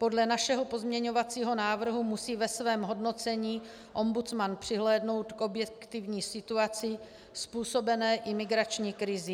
Podle našeho pozměňovacího návrhu musí ve svém hodnocení ombudsman přihlédnout k objektivní situaci způsobené imigrační krizí.